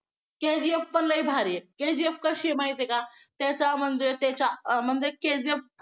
KGF पण लई भारी आहे KGF कशी आहे माहित आहे का त्याच्या म्हणजे त्याच्या म्हणजे KGF